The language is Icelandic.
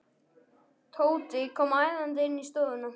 Tóti kom æðandi inn í stofuna.